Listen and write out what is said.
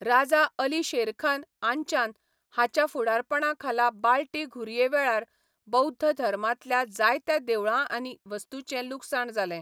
राजा अली शेरखान आंचान हाच्या फुडारपणाखाला बाल्टी घुरये वेळार बौध्द धर्मांतल्या जायत्या देवळां आनी वस्तूंचें लुकसाण जालें.